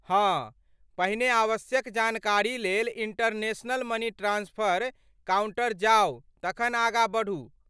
हँ, पहिने आवश्यक जानकारी लेल इंटरनेशनल मनी ट्रांस्फर काउंटर जाउ तखन आगाँ बढ़ू।